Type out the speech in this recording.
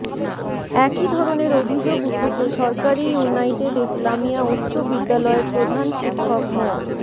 একই ধরণের অভিযোগ উঠেছে সরকারি ইউনাইটেড ইসলামিয়া উচ্চ বিদ্যালয়ের প্রধান শিক্ষক মো